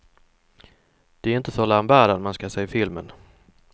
Det är inte för lambadan man ska se filmen.